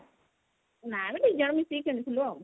ନା ବେ ଦି ଜଣ ମିସିକି ଖେଳିଥିଲୁ ଆଉ